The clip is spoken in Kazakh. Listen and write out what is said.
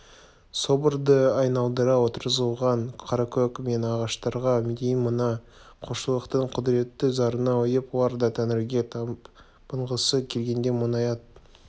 соборды айналдыра отырғызылған қаракөк емен ағаштарға дейін мына құлшылықтың құдіретті зарына ұйып олар да тәңірге табынғысы келгендей мұңая